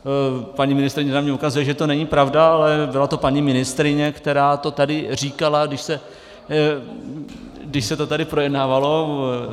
Paní ministryně na mě ukazuje, že to není pravda, ale byla to paní ministryně, která to tady říkala, když se to tady projednávalo.